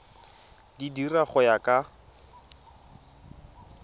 di dira go ya ka